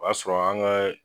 O y'a sɔrɔ an kaaa.